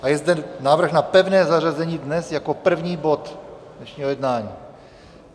A je zde návrh na pevné zařazení dnes jako první bod dnešního jednání.